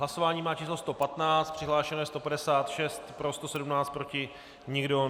Hlasování má číslo 115, přihlášeno je 156, pro 117, proti nikdo.